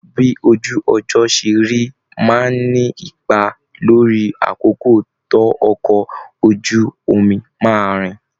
Bí ojú ọjọ́ ṣe rí máa ń ní ipa lórí àkókò tó ọkọ̀ ojú omi máa rìn